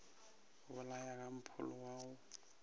bolaya ka mpholo wa go